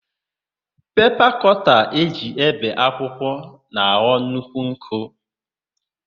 Pepa kọta e ji ébè akwụkwọ na-aghọ nnukwu nkọ.